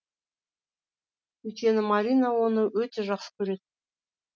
өйткені марина оны өте жақсы көреді